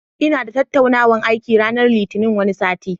Inada tattaunawan aiki ranar Litinin wani sati